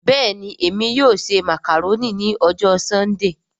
Bẹ́ẹ̀ni Emi yóò ṣe macaroni ni ọjọ Sundee